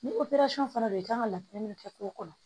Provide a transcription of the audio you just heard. Ni fana do i kan ka laturu min kɛ cogo kɔnɔ